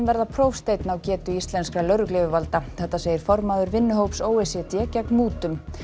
verða prófsteinn á getu íslenskra lögregluyfirvalda segir formaður vinnuhóps o e c d gegn mútum